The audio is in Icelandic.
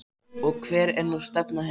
Og hver er nú stefna þeirra?